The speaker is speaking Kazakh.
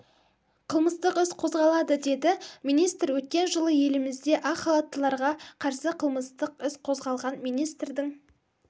қылмыстық іс қозғалады деді министр өткен жылы елімізде ақ халаттыларға қарсы қылмыстық іс қозғалған министрдің